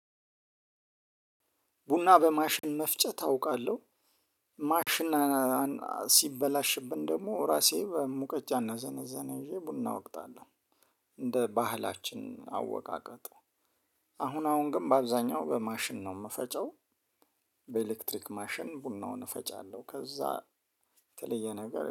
ቡና በማሽን መፍጨት አውቃለሁ። ማሽን ሲበላሽብን ደግሞ ራሴ በሙቀጫ እናዘነዘና ይዤ ቡና እወቅጣለሁ። እንደ ባህላችን አወቃቀጥ። አሁን አሁን ግን በአብዛኛው በማሽን ነው የምፈጨው። በኤሌክትሪክ ማሽን ቡናውን እፈጫለሁ ከዛ የተለየ ነገር